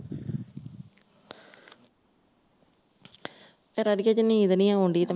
ਚਲ ਅੜੀਏ ਜੇ ਨੀਂਦ ਨਹੀਂ ਆਉਂਦੀ ਤਾਂ